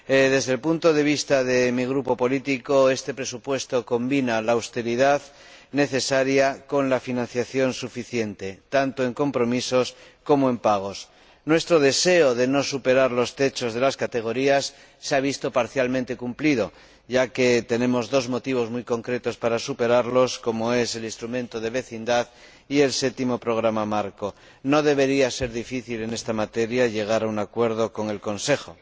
Desde el punto de vista de mi grupo político, este presupuesto combina la austeridad necesaria con la financiación suficiente, tanto en compromisos como en pagos. Nuestro deseo de no superar los techos de las rúbricas se ha visto parcialmente cumplido, ya que tenemos dos motivos muy concretos para superarlos, como son el Instrumento de Vecindad y el Séptimo Programa Marco. No debería ser difícil, en esta materia, llegar a un acuerdo con el Consejo.